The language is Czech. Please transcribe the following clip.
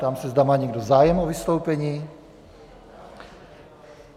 Ptám se, zda má někdo zájem o vystoupení.